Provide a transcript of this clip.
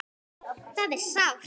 Það er sárt.